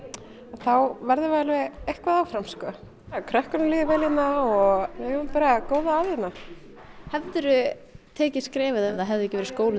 þá verðum við alveg eitthvað áfram sko krökkunum líður vel hérna og við eigum bara góða að hérna hefðirðu tekið skrefið ef það hefði ekki verið skólinn